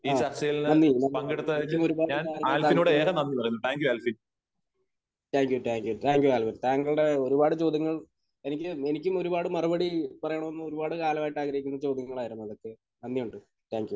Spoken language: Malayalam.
ആഹ്. നന്ദി. നന്ദി, ആൽവിൻ. എനിക്കും ഒരുപാട് കാര്യങ്ങൾ താങ്കളോട്...താങ്ക് you. Thank you. Thank you, Alvin. താങ്കളുടെ ഒരുപാട് ചോദ്യങ്ങൾ എനിക്ക് എനിക്കും ഒരുപാട് മറുപടി പറയണമെന്ന് ഒരുപാട് കാലമായിട്ട് ഉണ്ടായിരുന്ന ഒരു ചോദ്യങ്ങളായിരുന്നു അതൊക്കെ. നന്ദിയുണ്ട്. Thank U.